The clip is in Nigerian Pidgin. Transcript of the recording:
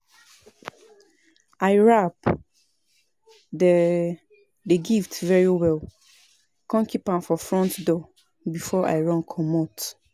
I wrap the the gift very well come keep am for front door before I run comot